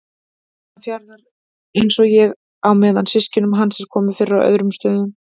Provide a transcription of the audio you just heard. Hafnarfjarðar, einsog ég, á meðan systkinum hans er komið fyrir á öðrum stöðum.